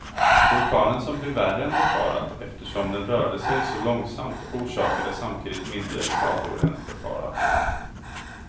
Orkanen som blev värre än befarat eftersom den rörde sig så långsamt, orsakade samtidigt mindre skador än befarat.